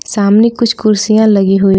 सामने कुछ कुर्सियां लगी हुई--